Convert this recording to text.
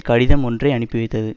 கடிதம் ஒன்றை அனுப்பி வைத்தது